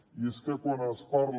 i és que quan es parla